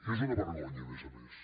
és una vergonya a més a més